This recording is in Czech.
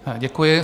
Děkuji.